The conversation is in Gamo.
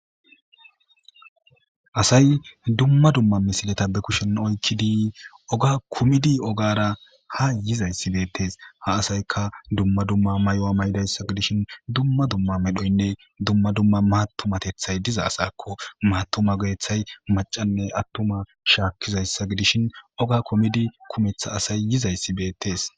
Hsay dumma dumma misileta be kushen oykkidi oga kumidi ogara ha yizayssi beettees ha asayka dumma dumma mayo maydayssa gidishin dumma dumma medhoynne dumma dumma matumatethay diza asakko maatuma godeththay macanne attuma shaakkizayssa gidishin oga komidi kumetha asay yizayssi beettes.